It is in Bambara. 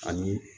Ani